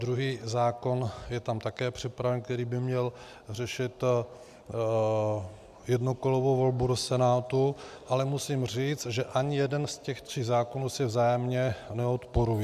Druhý zákon je tam také připraven, který by měl řešit jednokolovou volbu do Senátu, ale musím říci, že ani jeden z těch tří zákonů si vzájemně neodporuje.